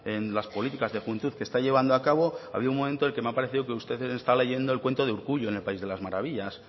en las políticas de juventud que está llevando a cabo ha habido un momento en el que me ha parecido que usted está leyendo el cuento de urkullu en el país de las maravillas